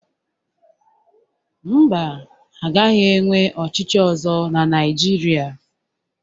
Mba, a gaghị enwe ọchịchị ọzọ na Naijiria